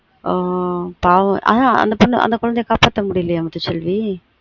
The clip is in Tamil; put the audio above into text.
ஆஹ் அந்த பொண்ண அந்த குழந்தைய காப்பாத்த முடியலயா முத்து செல்வி